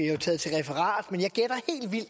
jo taget til referat men